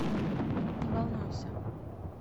не волнуйся